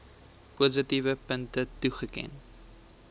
positiewe punte toeken